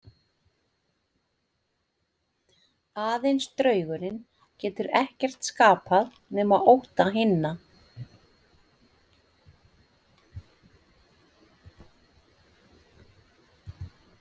Aðeins draugurinn getur ekkert skapað nema ótta hinna.